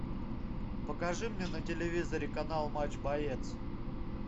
покажи мне на телевизоре канал матч боец